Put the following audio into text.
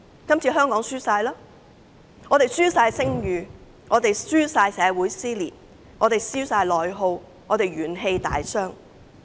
今次香港完全輸了，香港輸了聲譽，香港社會撕裂，並出現內耗，元氣大傷。